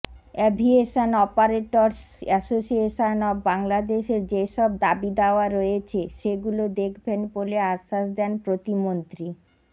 aviation operators association of বাংলাদেশের যেসব দাবি দাওয়া রয়েছে সেগুলো দেখবেন বলে আশ্বাস দেন প্রতিমন্ত্রী